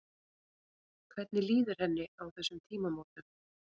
Hvernig líður henni á þessum tímamótum?